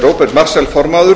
róbert marshall formaður